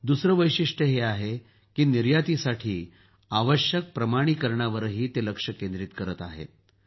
दुसरं वैशिष्ट्य हे आहे की निर्यातीसाठी आवश्यक प्रमाणीकरणावरही ते लक्ष केंद्रीत करत आहेत